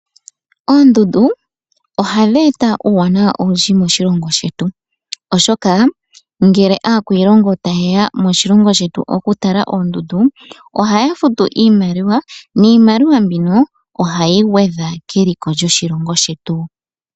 Oondundu, ohadhi eta uuwanawa owundji moshilongo shetu, oshoka ngele aakwiilongo taye ya moshilongo shetu okutala oondundu, ohaya futu iimaliwa, niimaliwa mbino ohayi gwedha keliko lyoshilongo shetu